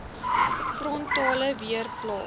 frontale weer plaas